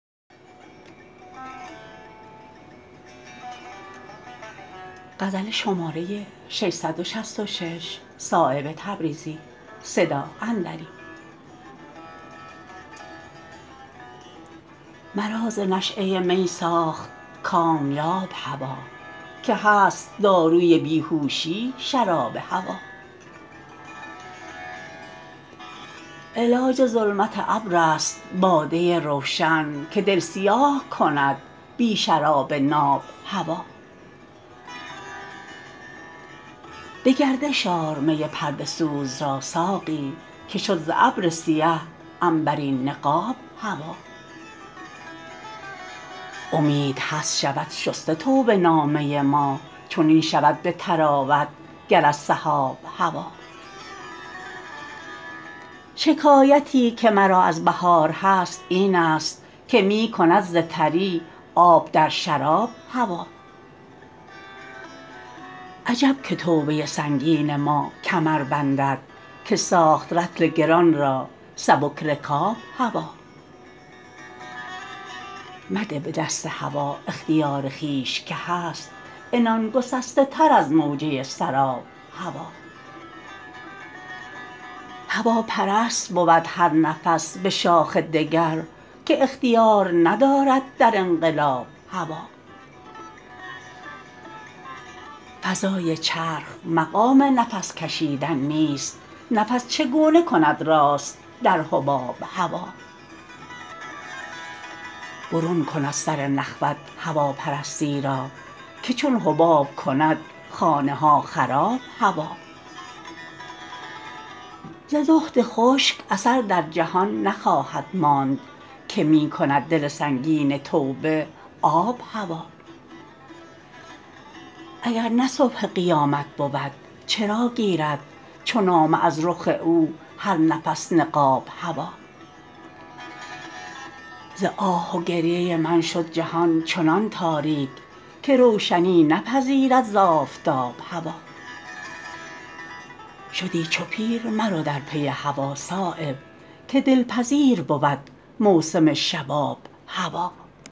مرا ز نشأه می ساخت کامیاب هوا که هست داروی بیهوشی شراب هوا علاج ظلمت ابرست باده روشن که دل سیاه کند بی شراب ناب هوا به گردش آر می پرده سوز را ساقی که شد ز ابر سیه عنبرین نقاب هوا امید هست شود شسته توبه نامه ما چنین شود به طراوت گر از سحاب هوا شکایتی که که مرا از بهار هست این است که می کند ز تری آب در شراب هوا عجب که توبه سنگین ما کمر بندد که ساخت رطل گران را سبک رکاب هوا مده به دست هوا اختیار خویش که هست عنان گسسته تر از موجه سراب هوا هواپرست بود هر نفس به شاخ دگر که اختیار ندارد در انقلاب هوا فضای چرخ مقام نفس کشیدن نیست نفس چگونه کند راست در حباب هوا برون کن از سر نخوت هواپرستی را که چون حباب کند خانه ها خراب هوا ز زهد خشک اثر در جهان نخواهد ماند که می کند دل سنگین توبه آب هوا اگر نه صبح قیامت بود چرا گیرد چو نامه از رخ او هر نفس نقاب هوا ز آه و گریه من شد جهان چنان تاریک که روشنی نپذیرد ز آفتاب هوا شدی چو پیر مرو در پی هوا صایب که دلپذیر بود موسم شباب هوا